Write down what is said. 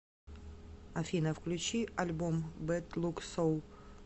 афина включи альбом бэд лук соул